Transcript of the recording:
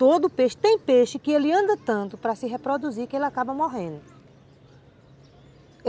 Todo peixe, tem peixe que ele anda tanto para se reproduzir que ele acaba morrendo.